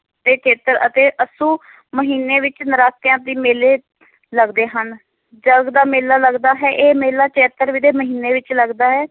ਤੇ ਚੇਤਰ ਅਤੇ ਅੱਸੂ ਮਹੀਨੇ ਵਿੱਚ ਨਰਾਤਿਆਂ ਦੇ ਮੇਲੇ ਲੱਗਦੇ ਹਨ, ਜਰਗ ਦਾ ਮੇਲਾ ਲੱਗਦਾ ਹੈ, ਇਹ ਮੇਲਾ ਚੇਤਰ ਦੇ ਮਹੀਨੇ ਵਿੱਚ ਲੱਗਦਾ ਹੈ।